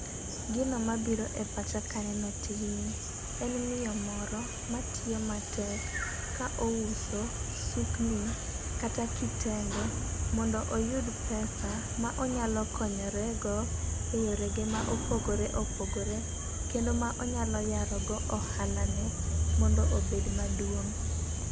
Gino mabiro e pacha kaneno tijni en miyo moro matiyo matek ka ouso sukni kata kitenge mondo oyud pesa ma onyalo konyore go e yore ge ma opogore opogore, kendo ma onyalo yaro go ohala ne mondo obed maduong'.